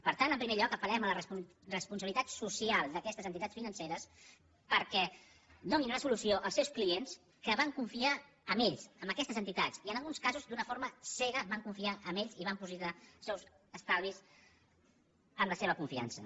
per tant en primer lloc apel·lem a la responsabilitat social d’aquestes entitats financeres perquè donin una solució als seus clients que van confiar en ells en aquestes entitats i en alguns casos d’una forma cega van confiar en ells i van dipositar els seus estalvis en la seva confiança